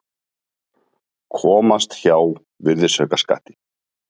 Komast hjá virðisaukaskatti